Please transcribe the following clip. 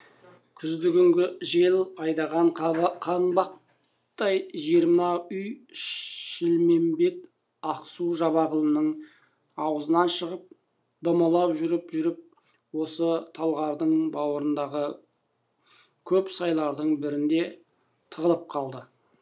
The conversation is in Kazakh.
күзді күнгі жел айдаған қанбақтай жиырма үй шілмембет ақсу жабағылының ауызынан шығып домалап жүріп жүріп осы талғардың бауырындағы көп сайлардың бірінде тығылып қалды